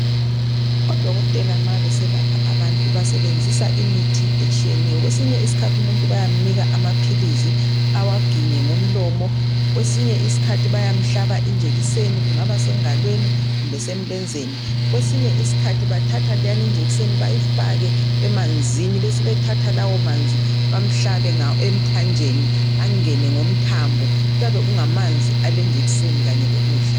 Odokotela nxa beselapha abantu basebenzisa imithi etshiyeneyo. Kwesinye isikhathi umuntu bayamnika amaphilizi awaginye ngomlomo kwesinye iskhathi bayamhlaba injekiseni kungaba sengalweni kumbe semlenzeni kwesinye iskhathi bathatha leyana injekiseni bayifake emanzini besebethatha lawomanzi bamhlabe emthanjeni angene ngomthambo kuyabe kungamanzi alenjekiseni kanye lokudla.